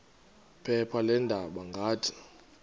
phepha leendaba ngathi